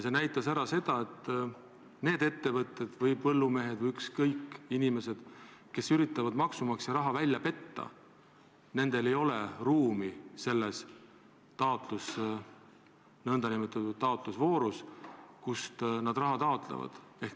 See näitas seda, et nendel ettevõtetel või põllumeestel või, ükskõik, inimestel, kes üritavad maksumaksja raha välja petta, ei ole ruumi selles nn taotlusvoorus, kus raha taotletakse.